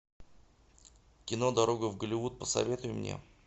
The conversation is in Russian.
кино дорога в голливуд посоветуй мне